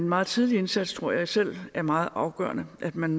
meget tidlige indsats tror jeg selv er meget afgørende at man